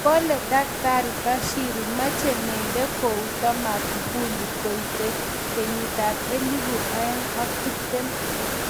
Kale Dkt Bashiru mache Membe Kouto Magufuli koite 2020